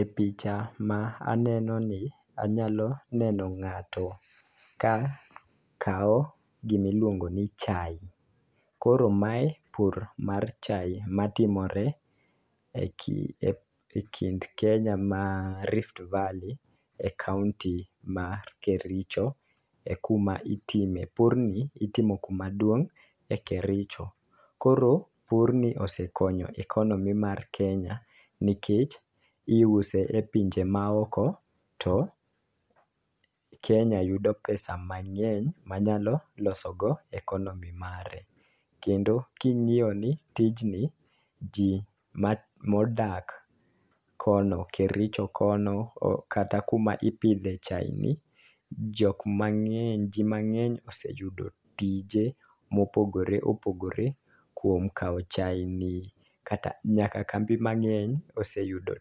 E picha ma aneno ni anyalo neno ng'ato ka kawo gimi luongo ni chai. Koro mae pur mar chai matimore e ki ekind kenya ma rift valley e kaunti mar kericho e kuma itime, pur ni itimo kuma duong' e kericho .Koro pur ni osekonyo economy mar kenya nikech iuse e pinje maoko to kenya yudo pesa mang'eny manyalo loso go economy mare kendo king'iyo ni tijni jii ma modak kono kericho kono o kata kuma ipidhe chai ni jok mang'eny jii mang'eny oseyudo tije mopogore opogore kuom kawo chai ni kata nyaka kambi mang'eny oseyudo